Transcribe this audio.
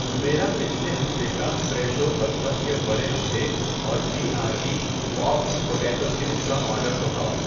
میرا پچھلے ہفتے کا فریشو بطخ کے بڑے انڈے اور B R B Poppd potato chips کا آرڈر دوہراؤ۔